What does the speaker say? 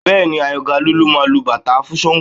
Bẹ́ẹ̀ni Àyàngalú ló máa lu bàtá fún Ṣàngó